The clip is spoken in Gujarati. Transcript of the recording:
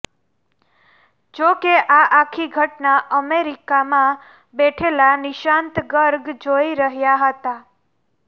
જો કે આ આખી ઘટના અમેરિકામાં બેઠેલા નીશાંત ગર્ગ જોઈ રહ્યા હતા